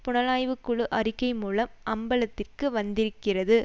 புலனாய்வுக்குழு அறிக்கை மூலம் அம்பலத்திற்கு வந்திருக்கிறது